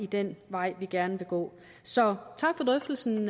den vej vi gerne vil gå så tak for drøftelsen